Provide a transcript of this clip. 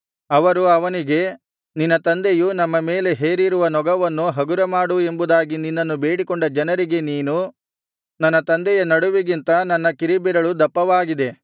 ಅವರು ಅವನಿಗೆ ನಿನ್ನ ತಂದೆಯು ನಮ್ಮ ಮೇಲೆ ಹೇರಿರುವ ನೊಗವನ್ನು ಹಗುರಮಾಡು ಎಂಬುದಾಗಿ ನಿನ್ನನ್ನು ಬೇಡಿಕೊಂಡ ಜನರಿಗೆ ನೀನು ನನ್ನ ತಂದೆಯ ನಡುವಿಗಿಂತ ನನ್ನ ಕಿರಿಬೆರಳು ದಪ್ಪವಾಗಿದೆ